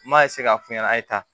N m'a k'a f'u ɲɛna a ye taa